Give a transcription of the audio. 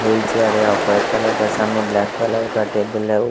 wheel chair है और white colour का सामने ब्लैक कलर का टेबल है और--